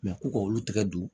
ko k'olu tigɛ don